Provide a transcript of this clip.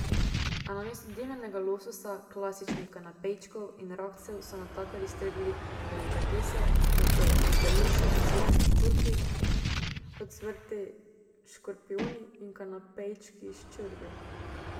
A namesto dimljenega lososa, klasičnih kanapejčkov in rakcev so natakarji stregli delikatese, kot so beluši z ocvrtimi ščurki, ocvrti škorpijoni in kanapejčki s črvi.